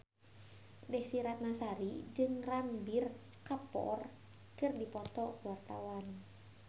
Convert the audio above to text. Desy Ratnasari jeung Ranbir Kapoor keur dipoto ku wartawan